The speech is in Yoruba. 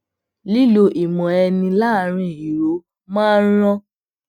lilo ìmọ eni laaarin iro máa ń ran